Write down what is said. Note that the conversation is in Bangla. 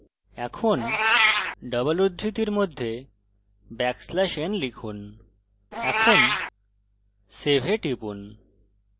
এবং double উদ্ধৃতির মধ্যে ব্যাকস্ল্যাশ n লিখুন এখন save এ টিপুন